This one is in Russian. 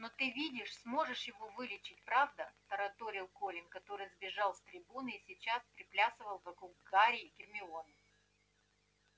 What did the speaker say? но ты видишь сможешь его вылечить правда тараторил колин который сбежал с трибуны и сейчас приплясывал вокруг гарри и гермионы